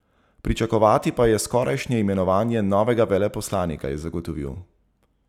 Pričakovati pa je skorajšnje imenovanje novega veleposlanika, je zagotovil.